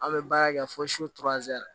An bɛ baara kɛ fo